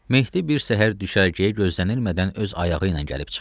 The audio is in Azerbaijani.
Mehdi bir səhər düşərgəyə gözlənilmədən öz ayağı ilə gəlib çıxdı.